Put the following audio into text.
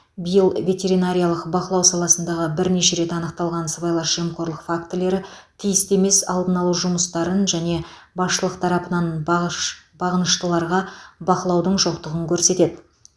биыл ветеринариялық бақылау саласындағы бірнеше рет анықталған сыбайлас жемқорлық фактілері тиісті емес алдын алу жұмыстарын және басшылық тарапынан бағыш бағыныштыларға бақылаудың жоқтығын көрсетеді